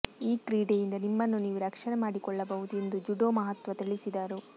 ಈ ಕ್ರೀಡೆಯಿಂದ ನಿಮ್ಮನ್ನು ನೀವು ರಕ್ಷಣೆ ಮಾಡಿಕೊಳ್ಳಬಹುದು ಎಂದು ಜುಡೋ ಮಹತ್ವ ತಿಳಿಸಿದರು